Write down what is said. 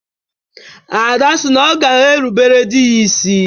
Ada si na ọ ga-erubere di ya isi.